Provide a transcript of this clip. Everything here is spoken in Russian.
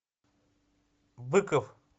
быков